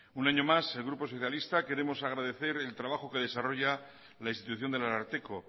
un años más el grupo socialista queremos agradecer el trabajo que desarrolla la institución del ararteko